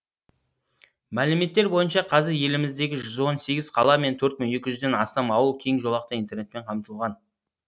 мәліметтер бойынша қазір еліміздегі жүз он сегіз қала мен төрт мың екі жүзден астам ауыл кеңжолақты интернетпен қамтылған